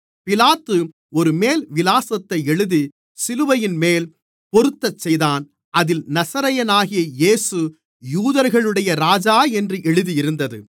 பிலாத்து ஒரு மேல்விலாசத்தை எழுதி சிலுவையின்மேல் பொறுத்தச்செய்தான் அதில் நசரேயனாகிய இயேசு யூதர்களுடைய ராஜா என்று எழுதியிருந்தது